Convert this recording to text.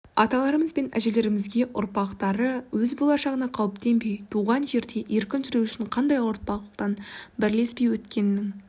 аталарымыз бен әжелерімізге ұрпақтары өз болашағына қауіптенбей туған жерде еркін жүруі үшін қандай ауыртпалықтан біріліспей өткенің